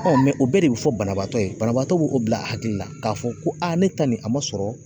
o bɛɛ de bi fɔ banabagatɔ ye banabaatɔ b'o o bila hakili la k'a fɔ ko ne ta nin a ma sɔrɔ